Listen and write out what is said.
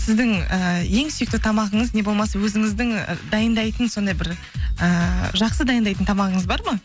сіздің ііі ең сүйікті тамағыңыз не болмаса өзіңіздің дайындайтын сондай бір ііі жақсы дайындайтын тамағыңыз бар ма